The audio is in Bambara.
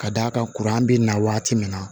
Ka d'a kan kuran bɛ na waati min na